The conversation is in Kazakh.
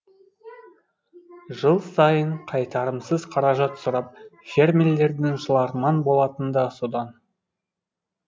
жыл сайын қайтарымсыз қаражат сұрап фермерлердің жыларман болатыны да содан